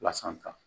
Lasan